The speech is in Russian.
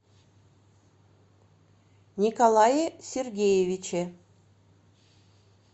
николае сергеевиче